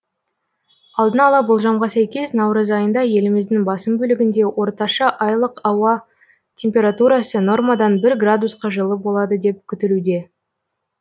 алдын ала болжамға сәйкес наурыз айында еліміздің басым бөлігінде орташа айлық ауа температурасы нормадан бір градусқа жылы болады деп күтілуде